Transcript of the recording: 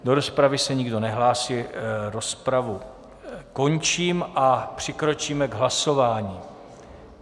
Do rozpravy se nikdo nehlásí, rozpravu končím a přikročíme k hlasování.